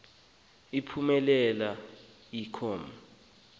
phumelela i com